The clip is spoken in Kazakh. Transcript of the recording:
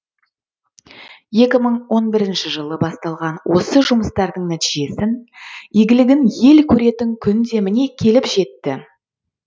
екі мың он бірінші жылы басталған осы жұмыстардың нәтижесін игілігін ел көретін күн де міне келіп жетті